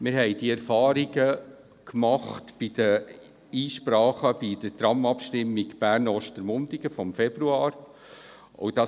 Wir haben diese Erfahrung bei den Einsprachen zur Abstimmung über das Tram Bern-Ostermundigen vom Februar dieses Jahres gemacht.